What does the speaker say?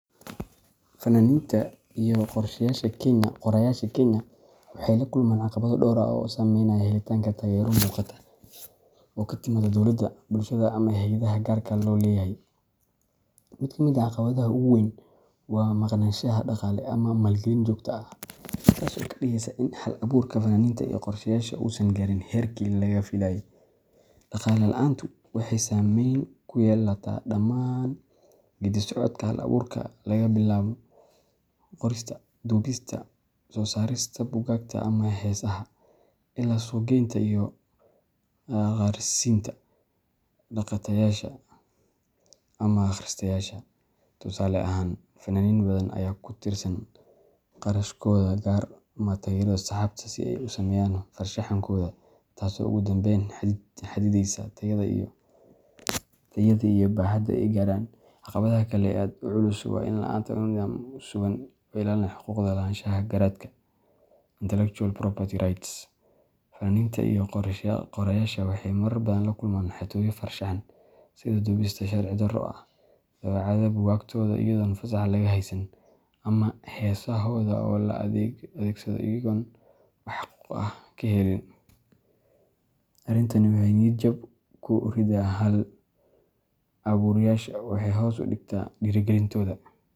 Fanaaniinta iyo qoraayaasha Kenya waxay la kulmaan caqabado dhowr ah oo saameynaya helitaanka taageero muuqata oo ka timaadda dowladda, bulshada, ama hay’adaha gaarka loo leeyahay. Mid ka mid ah caqabadaha ugu waaweyn waa maqnaanshaha dhaqaale ama maalgelin joogto ah, taas oo ka dhigeysa in hal-abuurka fanaaniinta iyo qoraayaasha uusan gaarin heerkii laga filayey. Dhaqaale la’aantu waxay saameyn ku yeelataa dhammaan geeddi-socodka hal-abuurka, laga bilaabo qorista, duubista, soo saarista buugaagta ama heesaha, ilaa suuq-geynta iyo gaarsiinta dhagaystayaasha ama akhristayaasha. Tusaale ahaan, fanaaniin badan ayaa ku tiirsan kharashkooda gaarka ah ama taageerada asxaabtooda si ay u sameeyaan farshaxankooda, taasoo ugu dambeyn xadidaysa tayada iyo baaxadda ay gaaraan. Caqabadda kale ee aadka u culus waa la’aanta nidaam sugan oo ilaalinaya xuquuqda lahaanshaha garaadka intellectual property rights. Fanaaniinta iyo qoraayaashu waxay marar badan la kulmaan xatooyo farshaxan, sida duubista sharci-darro ah, daabacaadda buugaagtooda iyadoon fasax laga haysan, ama heesahooda oo la adeegsado iyagoon wax xuquuq ah ka helin. Arrintan waxay niyad-jab ku ridaa hal-abuurayaasha, waxayna hoos u dhigtaa dhiirrigelintooda.